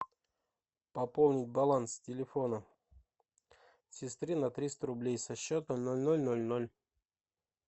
пополнить баланс телефона сестры на триста рублей со счета ноль ноль ноль ноль